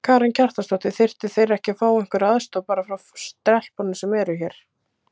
Karen Kjartansdóttir: Þyrftu þeir ekki að fá einhverja aðstoð bara frá stelpunum sem eru hér?